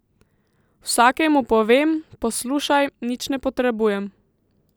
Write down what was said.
Vsakemu povem, poslušaj, nič ne potrebujem.